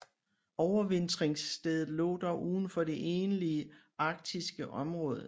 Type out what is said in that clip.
Overvintringsstedet lå dog uden for det egentlige arktiske område